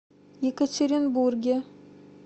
екатеринбурге